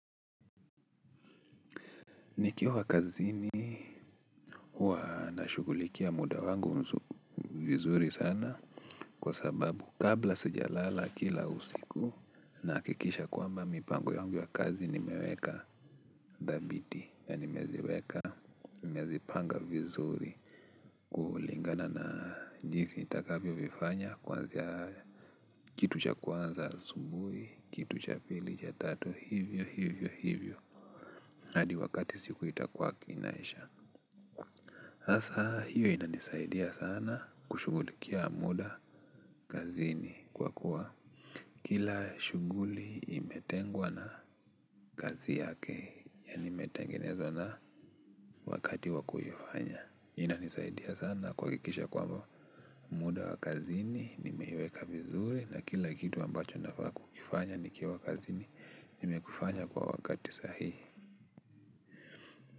Nikiwa kazini, huwa na shughulikia muda wangu vizuri sana, kwa sababu, kabla sijalala kila usiku, na akikisha kwamba mipango yangu ya kazi nimeweka, dhabiti nimeziweka, nimezipanga vizuri, kulingana na jisi itakavio vifanya, kuanzia kitu cha kwanza subuhi, kitu cha pili, cha tatu, hivyo, hivyo, hivyo. Hadi wakati siku itakuwa kinaisha. Sasa, hiyo itanisaidia sana, kushugulikia muda kazini kwa kuwa, kila shughuli imetengwa na, kazi yake yaani metengenezwa na, wakati wakuifanya. Inanisaidia sana kuhakikisha kwamba, muda wa kazini nimeiweka vizuri, na kila kitu ambacho nafaa kukifanya nikiwa kazini, nimekufanya kwa wakati sahihi.